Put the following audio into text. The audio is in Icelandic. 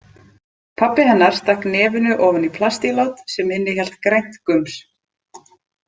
Pabbi hennar stakk nefinu ofan í plastílát sem innihélt grænt gums.